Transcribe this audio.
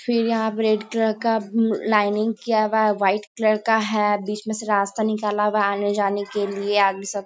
फिर यहाँ पे रेड कलर का लाइनिंग किया गया व्हाइट कलर का है। बीच में से रास्ता निकाला हुआ है आने जाने के लिए। आगे सब--